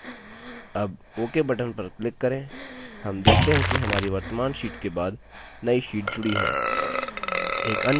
अब ok button पर click करें हम देखते हैं कि हमारी वर्त्तमान sheet के बाद now sheet जुडी है